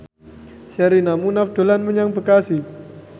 Sherina Munaf dolan menyang Bekasi